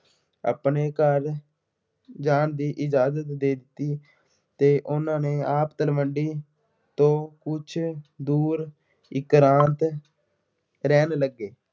ਆਪਣੇ ਘਰ ਜਾਣ ਦੀ ਇਜ਼ਾਜ਼ਤ ਦੇ ਦਿੱਤੀ ਅਤੇ ਉਹਨਾ ਨੇ ਆਪ ਤਲਵੰਡੀ ਤੋਂ ਕੁੱਝ ਦੂਰ ਇਕਰਾਂਤ ਰਹਿਣ ਲੱਗੇ।